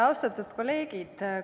Austatud kolleegid!